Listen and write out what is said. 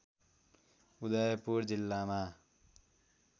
उदयपुर जिल्लामा